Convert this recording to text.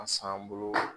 A san bolo